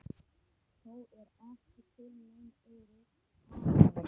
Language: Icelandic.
Þó er ekki til nein örugg aðferð.